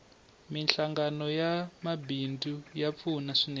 minhlangano ya mabidzu ya pfuna swinene